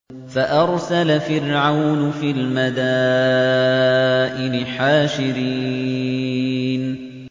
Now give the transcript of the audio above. فَأَرْسَلَ فِرْعَوْنُ فِي الْمَدَائِنِ حَاشِرِينَ